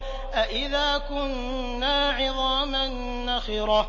أَإِذَا كُنَّا عِظَامًا نَّخِرَةً